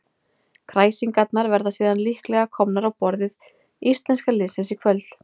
Kræsingarnar verða síðan líklega komnar á borð íslenska liðsins í kvöld.